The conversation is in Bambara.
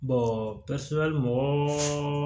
mɔgɔ